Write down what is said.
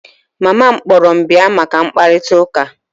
Mama m kpọrọ m bia maka mkparịta ụka